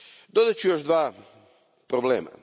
Dodat ću još dva problema.